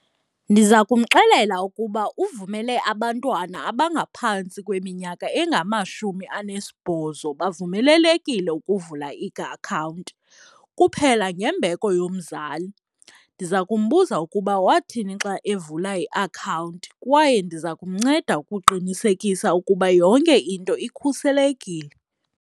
Ndiza kumxelela ukuba uvumele abantwana abangaphantsi kweminyaka engamashumi anesibhozo bavumelelekile ukuvula iakhawunti kuphela ngembeko yomzali. Ndiza kumbuza ukuba wathini xa evula iakhawunti kwaye ndiza kumnceda ukuqinisekisa ukuba yonke into ikhuselekile.